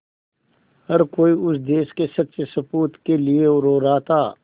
हर कोई उस देश के सच्चे सपूत के लिए रो रहा था